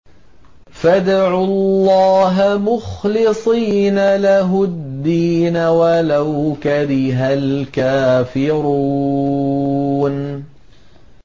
فَادْعُوا اللَّهَ مُخْلِصِينَ لَهُ الدِّينَ وَلَوْ كَرِهَ الْكَافِرُونَ